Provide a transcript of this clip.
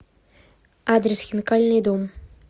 адрес хинкальный дом